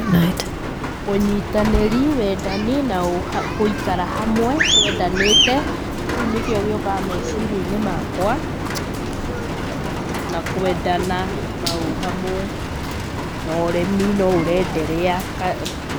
Ũnyitanĩri, wendani na gũikara hamwe twendanĩte. Kĩu nĩkĩo gĩũkaga meciria-inĩ makwa. Na kwendana, na ũhamwe, na ũrĩmi no ũrenderea.